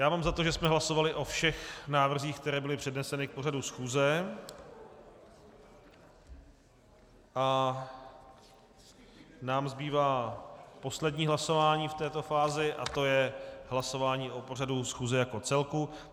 Já mám za to, že jsme hlasovali o všech návrzích, které byly předneseny k pořadu schůze, a nám zbývá poslední hlasování v této fázi a to je hlasování o pořadu schůze jako celku.